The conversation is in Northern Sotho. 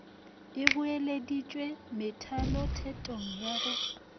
e boeleditšwe methalothetong ya go